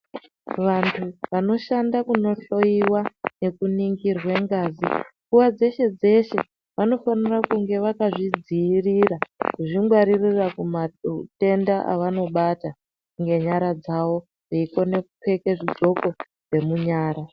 Vantu vanoshanda kundohloiwa nekuningirwa ngazi nguwa dzeshe dzeshe vanofana kuva vakazvidzivirira kuzvingwaririra kumatenda avanobata ngenyara dzawo veikona kupfeka zvidhloko zvemunyara.